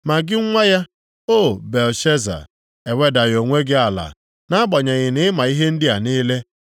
“Ma gị nwa ya, O Belshaza, ewedaghị onwe gị ala, nʼagbanyeghị na i ma ihe ndị a niile.